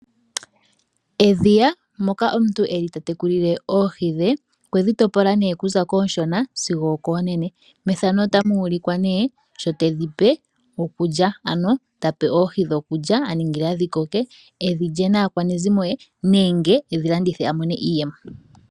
Aantu oyendji ohaya munu oohi. Oohi ndhika oha dhi pewa iikulya opo dhi vule dhi koke dhoo dhi landithwepo nenge dhi li wepo. Oha dhi vulu woo okukukutikwa dhili wepo monaku yiwa.